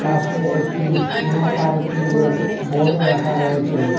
পাশে একটি নো পার্কিংয়ের বোর্ডও রাখা রয়েছে।